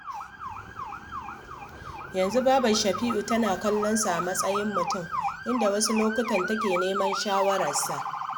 Yanzu babar Shafi’u tana kallon sa a matsayin mutum, inda wasu lokutan take neman shawararsa